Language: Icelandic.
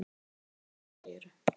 Er hann farinn, segirðu?